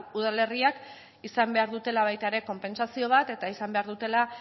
udalerriek izan behar dutela baita ere konpentsazio bat eta izan behar dutela